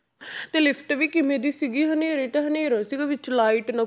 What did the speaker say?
ਤੇ lift ਵੀ ਕਿਵੇਂ ਦੀ ਸੀਗੀ ਹਨੇਰੇ ਤਾਂ ਹਨੇਰਾ ਸੀਗਾ ਵਿੱਚ light ਨਾ,